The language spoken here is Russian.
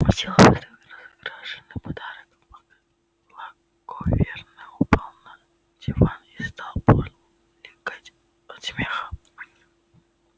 сделав этот роскошный подарок благоверный упал на диван и стал булькать от смеха